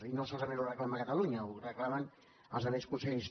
i no solament ho reclama catalunya ho reclamen els altres consellers